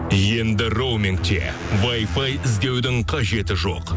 енді роумингте вайфай іздеудің қажеті жоқ